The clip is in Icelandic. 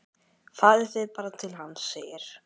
Farið þið bara til hans, segir